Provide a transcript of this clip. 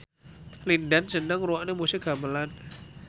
Lin Dan seneng ngrungokne musik gamelan